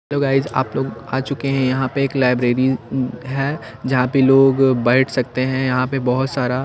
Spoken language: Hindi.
तो गाईज आप लोग आ चुके हैं यहां पे एक लाइब्रेरी है जहां पे लोग बैठ सकते हैं यहां पे बहोत सारा--